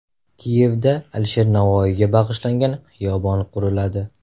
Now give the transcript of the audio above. Kiyevda Alisher Navoiyga bag‘ishlangan xiyobon quriladi.